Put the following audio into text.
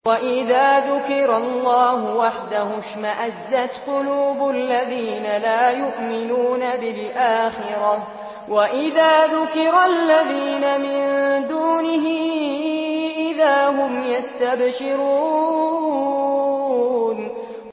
وَإِذَا ذُكِرَ اللَّهُ وَحْدَهُ اشْمَأَزَّتْ قُلُوبُ الَّذِينَ لَا يُؤْمِنُونَ بِالْآخِرَةِ ۖ وَإِذَا ذُكِرَ الَّذِينَ مِن دُونِهِ إِذَا هُمْ يَسْتَبْشِرُونَ